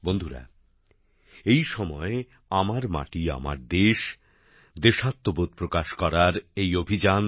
বন্ধুরা এই সময় আমার মাটি আমার দেশ দেশাত্মবোধ প্রকাশ করার এই অভিযান